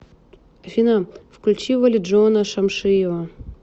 афина включи валиджона шамшиева